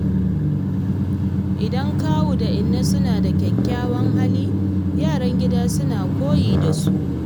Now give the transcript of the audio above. Idan kawu ko inna suna da kyakkyawan hali, yaran gida suna koyi da su.